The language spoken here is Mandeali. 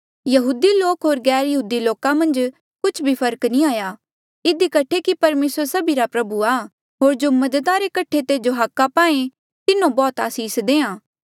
यहूदी लोका होर गैरयहूदी लोका मन्झ कुछ फर्क नी हाया इधी कठे कि परमेसर सभिरा प्रभु आ होर जो मदद रे कठे तेजो हाका पाए तिन्हो बौह्त आसीस देआ